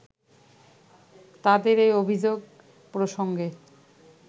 তাদের এই অভিযোগ প্রসঙ্গে